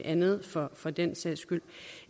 andet for for den sags skyld af